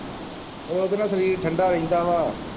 ਉਹ ਇਹਦੇ ਨਾਲ ਸਰੀਰ ਠੰਡਾ ਰਹਿੰਦਾ ਵਾ।